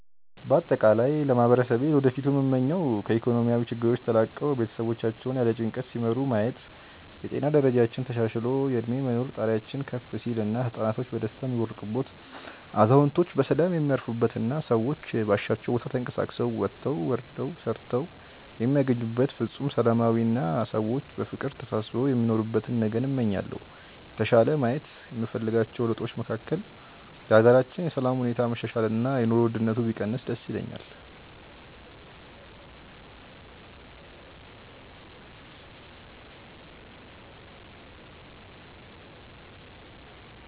በአጠቃላይ ለማህበረሰቤ ለወደፊቱ ምመኘው ከኢኮኖሚያዊ ችግሮች ተላቀው ቤተሰቦቻቸውን ያለ ጭንቀት ሲመሩ ማየት፣ የጤና ደረጃችን ተሻሽሎ የእድሜ የመኖር ጣሪያችን ከፍ ሲል እና ህፃናቶች በደስታ የሚቦርቁበት፣ አዛውንቶች በሰላም የሚያርፉበት እና ሰዎች ባሻቸው ቦታ ተንቀሳቅሰው ወጥተው ወርደው ሰርተው የሚያገኙበት ፍፁም ሰላማዊ አና ሰዎች በፍቅር ተሳስበው የሚኖሩበትን ነገን እመኛለሁ። የተሻለ ማየት የምፈልጋቸው ለውጦች መካከል የሀገራችንን የሰላም ሁኔታ መሻሻል እና የኑሮ ውድነቱ ቢቀንስ ደስ ይለኛል።